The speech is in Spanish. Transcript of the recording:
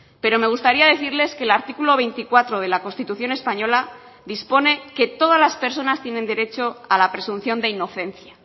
pero me gustaría decirles que el artículo veinticuatro de la constitución española dispone que todas las personas tienen derecho a la presunción de inocencia